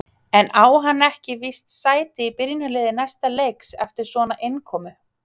En á hann ekki víst sæti í byrjunarliði næsta leiks eftir svona innkomu?